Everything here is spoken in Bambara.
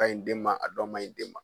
Kaɲi den ma, a dɔw maɲi den ma.